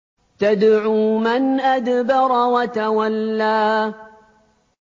تَدْعُو مَنْ أَدْبَرَ وَتَوَلَّىٰ